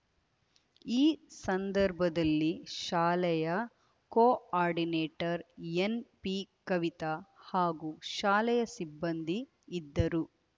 ಈ ಸಂದರ್ಭದಲ್ಲಿ ಶಾಲೆಯ ಕೊ ಆರ್ಡಿನೇಟರ್‌ ಎನ್‌ಪಿ ಕವಿತ ಹಾಗೂ ಶಾಲೆಯ ಸಿಬ್ಬಂದಿ ಇದ್ದರು